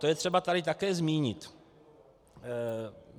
To je třeba tady také zmínit.